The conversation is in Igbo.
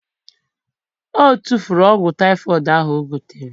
O tufuru ọgwụ typhoid ahu o gotere